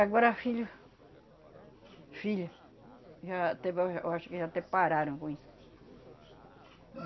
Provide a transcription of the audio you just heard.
Agora filho, filha, já até ba ja eu acho que já até pararam com isso.